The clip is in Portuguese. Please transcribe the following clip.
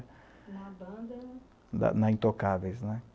Na banda... Na na Intocáveis, né?